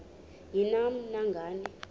ni nam nangani